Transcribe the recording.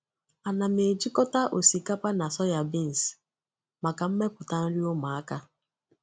A na m ejikọta osikapa na soybeans maka mmepụta nri ụmụaka.